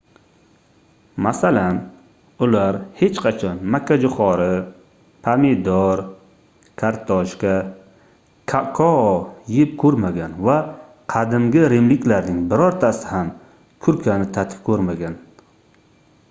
masalan ular hech qachon makkajoʻxori pomidor kartoshka kakao yeb koʻrmagan va qadimgi rimliklarning birortasi ham kurkani tatib koʻrmagan